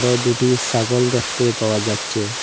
ও দুটি সাগল দেখতে পাওয়া যাচ্ছে।